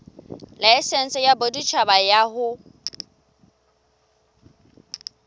laesense ya boditjhaba ya ho